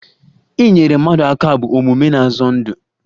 Inyere mmadụ aka bụ omume na-azọ ndụ